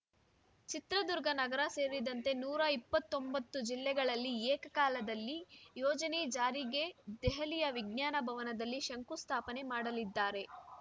ಚಿತ್ರದುರ್ಗ ನಗರ ಸೇರಿದಂತೆ ನೂರ ಇಪ್ಪತ್ತೊಂ ಬತ್ತು ಜಿಲ್ಲೆಗಳಲ್ಲಿ ಏಕಕಾಲದಲ್ಲಿ ಯೋಜನೆ ಜಾರಿಗೆ ದೆಹಲಿಯ ವಿಜ್ಞಾನ ಭವನದಲ್ಲಿ ಶಂಕು ಸ್ಥಾಪನೆ ಮಾಡಲಿದ್ದಾರೆ